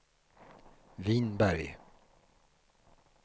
Vinberg